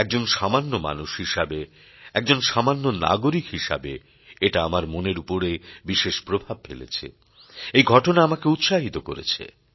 একজন সামান্য মানুষ হিসেবে একজন সামান্য নাগরিক হিসেবে এটা আমার মনের উপর বিশেষ প্রভাব ফেলেছে এই ঘটনা আমাকে উৎসাহিত করেছে